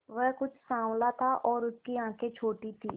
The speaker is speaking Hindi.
वह कुछ साँवला था और उसकी आंखें छोटी थीं